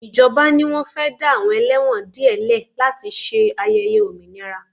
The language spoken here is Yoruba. Ìjọba ni wọ́n fẹ́ dá àwọn ẹlẹ́wọ̀n díẹ̀ lẹ̀ láti ṣe ayẹyẹ òmìnira